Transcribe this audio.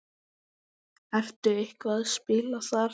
Ertu eitthvað að spila þar?